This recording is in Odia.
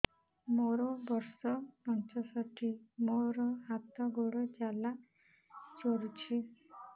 ମୋର ବର୍ଷ ପଞ୍ଚଷଠି ମୋର ହାତ ଗୋଡ଼ ଜାଲା କରୁଛି